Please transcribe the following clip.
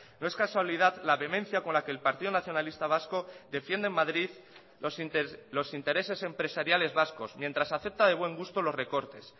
no es casualidad la vehemencia con la que el partido nacionalista vasco defiende en madrid los intereses empresariales vascos mientras acepta de buen gusto los recortes